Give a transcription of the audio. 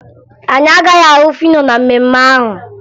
Anyị agaghị ahụ Fino na mmemme ahụ